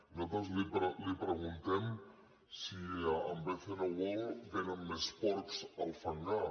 nosaltres li preguntem si amb bcn world vénen més porcs al fangar